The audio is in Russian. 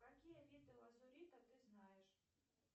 какие виды лазурита ты знаешь